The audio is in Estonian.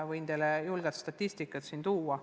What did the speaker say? Võin teile julgelt sellekohast statistikat tuua.